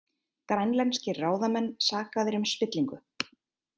Grænlenskir ráðamenn sakaðir um spillingu